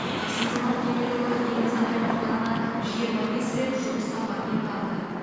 қасым жомарт кемелұлы еліміздің аймақтарына жиырма бес рет жұмыс сапарымен барды